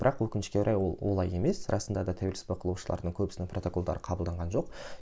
бірақ өкінішке орай ол олай емес расында да тәуелсізсіз бақылаушылардың көбісінің протоколдары қабылданған жоқ